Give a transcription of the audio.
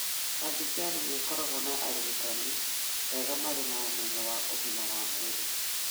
Adjumani nĩ ĩkoragwo na arigitani eeha marĩ na ũmenyo wa ũgima wa mwĩrĩ.